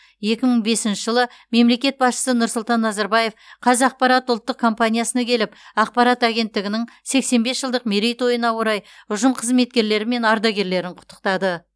екі мың бесінші жылы мемлекет басшысы нұрсұлтан назарбаев қазақпарат ұлттық компаниясына келіп ақпарат агенттігінің сексен бес жылдық мерейтойына орай ұжым қызметкерлері мен ардагерлерін құттықтады